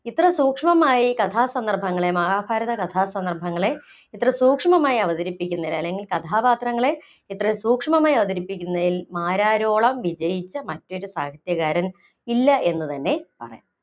ഇത്ര സൂക്ഷ്‌മമായി കഥാസന്ദർഭങ്ങളെ മഹാഭാരത കഥാസന്ദർഭങ്ങളെ ഇത്ര സൂക്ഷ്മമായി അവതരിപ്പിക്കുന്നത്‍, അല്ലെങ്കില്‍ കഥാപാത്രങ്ങളെ ഇത്ര സൂക്ഷ്‌മമായി അവതരിപ്പിക്കുന്നതിൽ മാരാരോളം വിജയിച്ച മറ്റൊരു സാഹിത്യകാരൻ ഇല്ല എന്ന് തന്നെ പറയാം.